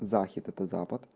захид это запад